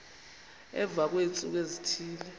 emva kweentsuku ezithile